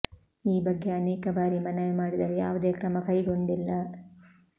ಈ ಬಗ್ಗೆ ಅನೇಕ ಬಾರಿ ಮನವಿ ಮಾಡಿದರು ಯಾವುದೇ ಕ್ರಮ ಕೈಗೊಂಡಿಲ್ಲ